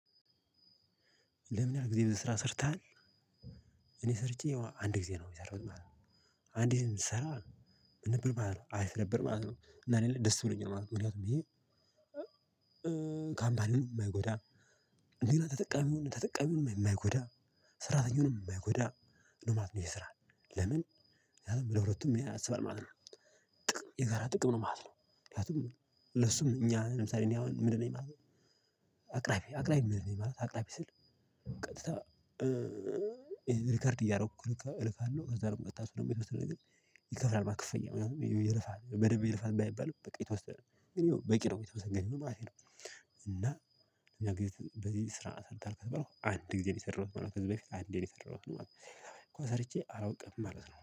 ለምን ያህል ግዜ ስራ ሰርተሃል? እኔ ሰርቼ አንድ ጊዜ ነው የሰራውት ማለት ነው። አንዴ ስሰራ ምን ነበር ማለት ነው አሪፍ ነበር ማለት ነው እና ደስ ብሎኛል ማለት ነው። ምክንያቱም ብዬ ካምፓኒውን የማይጎዳ ሌላ ተጠቃሚውን ተጠቃሚውን የማይጎዳ ስራተኛውንም የማይጎዳ ነው ማለት ነው። ይሄ ስራ። ለምን ለሁለቱም ያስባል ማለት ነው። ጥቅም የጋራ ጥቅም ነው ማለት ነው። ምክንያቱም ለሱም እኛ ለምሳሌ እኔ አሁን ምንድነኝ ማለት ነው። አቅራቢ አቅራቢ ነኝ ስል። ቀጥታ ሪከርድ እያደረኩ እልካለሁ። ከዛ ደግሞ ቀጥታ እሱ ደሞ የተወሰነ ነገር ይከፍላል በክፍያ ምናምን ያለፋል በደንብ ያለፋል ባይባልም በቃ የተወሰነ ነው። ግን ይሁን በቂ ነው የተመሰገነ ይሁን ማለቴ ነው። እና እኛ ጊዜ በዚህ ስራ አሰርታለሁ አንድ ጊዜ ነው የሰራሁት ማለት ነው። ከዚህ በፊት አንዴ ነው የሰራሁት ማለት። ሰርቼ አላውቅም ማለት ነው